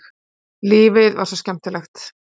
Lífið var svo skemmtilegt.